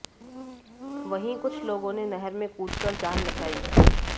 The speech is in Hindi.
वहीं कुछ लोगों ने नहर में कूदकर जान बचाई